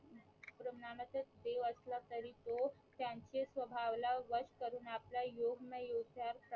देव असला तरी तो त्यांचे स्वभाव ला वष करून आपला योग ना योग चार